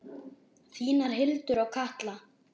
Þínar Hildur og Katla.